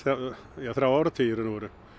í þrjá áratugi í raun og veru